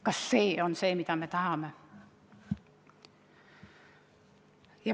Kas see on see, mida me tahame?